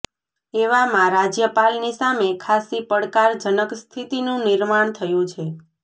એવામાં રાજ્યપાલની સામે ખાસ્સી પડકાર જનક સ્થિતિનું નિર્માણ થયું છે